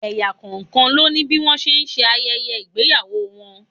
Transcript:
Ẹ̀yà kọ̀ọ̀kan ló ní bí wọ́n ṣe ń ṣe ayẹyẹ ìgbéyàwó wọn.